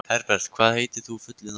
Herbert, hvað heitir þú fullu nafni?